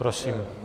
Prosím.